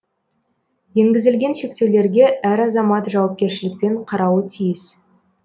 енгізілген шектеулерге әр азамат жауапкершілікпен қарауы тиіс